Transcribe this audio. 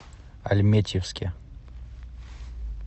альметьевске